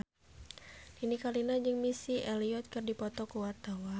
Nini Carlina jeung Missy Elliott keur dipoto ku wartawan